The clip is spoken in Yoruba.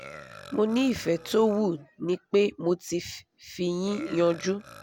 mo ní ìfẹ̀ tó wú ni pé mo ti fi yín yánju